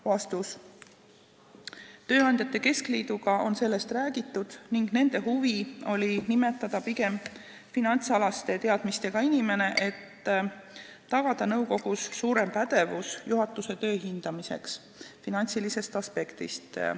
Vastus: tööandjate keskliiduga on sellest räägitud ning nendel oli huvi nimetada liikmeks pigem finantsalaste teadmistega inimene, et tagada nõukogus suurem pädevus juhatuse töö hindamiseks finantsilisest aspektist.